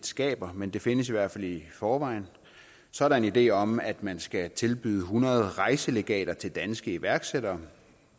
skaber men det findes i hvert fald i forvejen så er der en idé om at man skal tilbyde hundrede rejselegater til danske iværksættere